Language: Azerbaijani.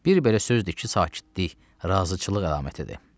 Bir belə sözdür ki, sakitlik razıçılıq əlamətidir.